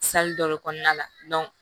dɔ de kɔnɔna la